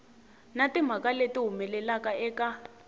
na timhaka leti humelelaka eka